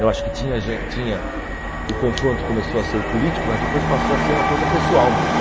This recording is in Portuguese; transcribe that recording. Eu acho que tinha gen tinha o confronto começou a ser o político, mas depois passou a ser uma coisa pessoal mesmo.